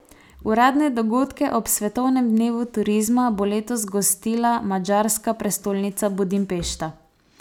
Uradne dogodke ob svetovnem dnevu turizma bo letos gostila madžarska prestolnica Budimpešta.